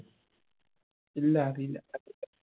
ഇല്ല അറിയില്ല